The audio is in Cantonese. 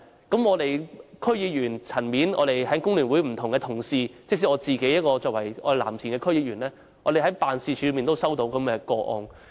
在區議員層面，工聯會不同的同事，以及我作為藍田區區議員，均曾在辦事處接獲這類個案。